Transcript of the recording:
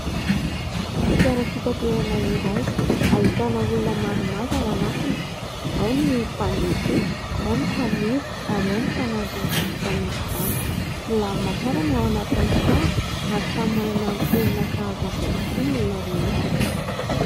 Fiara fitaterana iray ahitana olona maromaro ao anatiny. Ao ny mpandeha tsotra, ao ny mpamily, ary ao ny mpanampy izany mpamily izany. Milamina tsara ny ao anatin'ny fiara ary samy manana ny toerana sahaza azy avokoa ny olona rehetra.